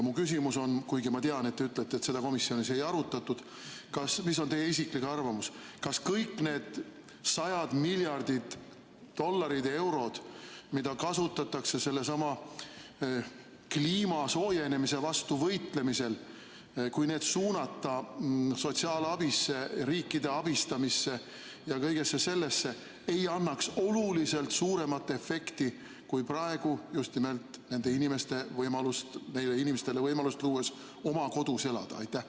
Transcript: Mu küsimus on, kuigi ma tean, et te ütlete, et seda komisjonis ei arutatud: mis on teie isiklik arvamus, kas kõik need sajad miljardid dollarid-eurod, mida kasutatakse sellesama kliima soojenemise vastu võitlemiseks, kui need suunata sotsiaalabisse, riikide abistamisse ja kõigesse sellesse, ei annaks oluliselt suuremat efekti kui praegu, just nimelt neile inimestele võimalust luues oma kodus elada?